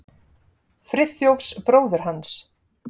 Friðþjófs bróður hans.